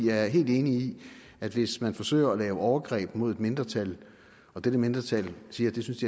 er helt enig i at hvis man forsøger at lave overgreb mod et mindretal og dette mindretal siger at det synes